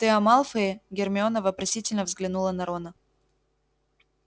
ты о малфое гермиона вопросительно взглянула на рона